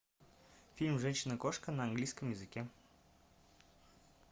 фильм женщина кошка на английском языке